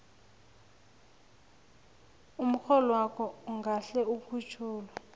umrholwakho ungahle ukhutjhulwe